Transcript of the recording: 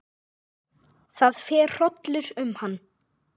Það fer hrollur um hann.